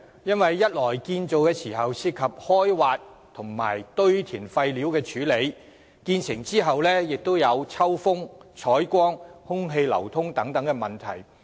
因為一方面在建造時涉及開挖和堆填廢料的處理，另一方面亦會在建成後造成抽風、採光、空氣流通等問題。